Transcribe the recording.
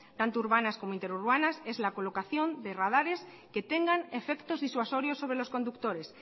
tanto urbanas como interurbanas es la colocación de radares que tengan efectos disuasorios sobre los conductores